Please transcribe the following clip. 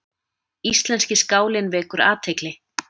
Íslenski skálinn vekur athygli